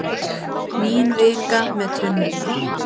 Mín vika með tunnurnar.